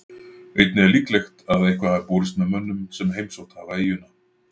Einnig er líklegt að eitthvað hafi borist með mönnum sem heimsótt hafa eyjuna.